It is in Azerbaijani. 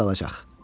O burda qalacaq.